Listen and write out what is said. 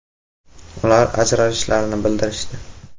“Ular ajrashishlarini bildirishdi.